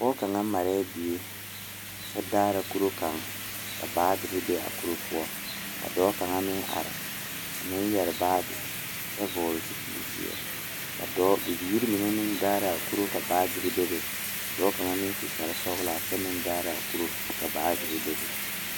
Pɔgeba ane bibiiri la ka bondire a kabɔɔti poɔ ka talaare be a be poɔ kaa kodo vaare meŋ be a be kaa bie kaŋa a iri gaŋe.